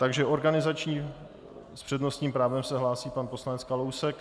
Takže organizační - s přednostním právem se hlásí pan poslanec Kalousek.